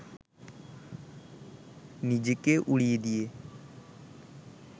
নিজেকে উড়িয়ে দিয়ে